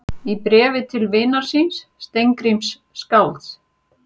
Í bréfi til vinar síns, Steingríms skálds